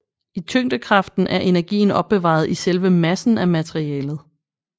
I tyngdekraften er energien opbevaret i selve massen af materialet